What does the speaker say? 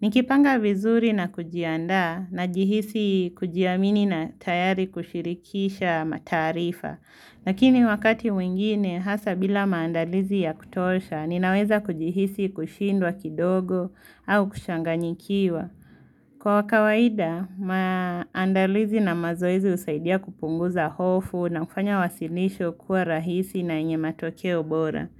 Nikipanga vizuri na kujiandaa, najihisi kujiamini na tayari kushirikisha mataarifa. Lakini wakati mwingine, hasa bila maandalizi ya kutosha, ninaweza kujihisi kushindwa kidogo au kuchanganyikiwa. Kwa kawaida, maandalizi na mazoezi husaidia kupunguza hofu na kufanya wasilisho kuwa rahisi na yenye matokeo bora.